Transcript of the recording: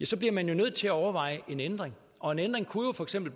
så bliver man jo nødt til at overveje en ændring og en ændring kunne jo for eksempel